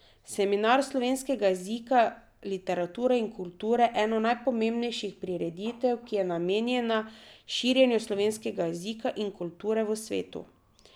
Seminar slovenskega jezika, literature in kulture, eno najpomembnejših prireditev, ki je namenjena širjenju slovenskega jezika in kulture v svet.